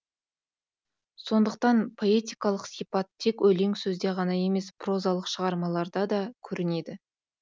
сондықтан поэтикалық сипат тек өлең сөзде ғана емес прозалық шығармаларда да көрінеді